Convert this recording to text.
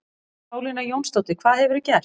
Pálína Jónsdóttir, hvað hefurðu gert?